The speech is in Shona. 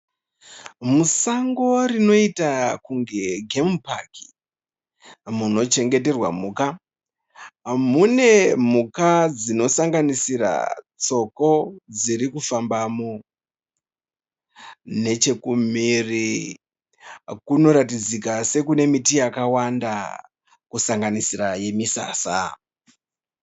Musango rinoita kunge gemu paki munochengeterwa mhuka, mune mhuka dzinosanganisira tsoko dzikufambamo. Nechekumhiri kunoratidzika sekune miti yakawanda kusanganisira yemisasa.